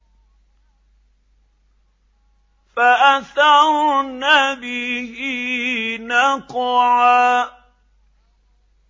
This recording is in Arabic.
فَأَثَرْنَ بِهِ نَقْعًا